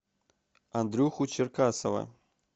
андрюху черкасова